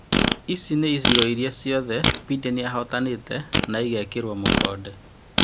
Ici nĩ icigo iria ciothe Mbideni ahotanĩte na ĩgekĩrwo mũkonde.